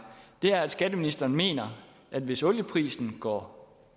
er at skatteministeren mener at hvis olieprisen går